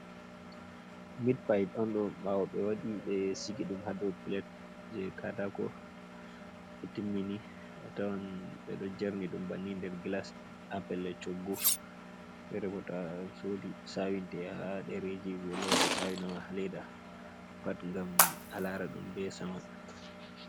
Mid-pide on ɗo ɓawo ɓe waɗi ɓe sigi ɗum ha dou plat je katako ɓe timmini atawan ɓeɗon jerni ɗum banni nder glas ha pelel choggu, fere bo to'asodi ɓe sawinte ha ɗereji ɓelora ɓe sawinama ha leda pat ngam a lara ɗum be saman.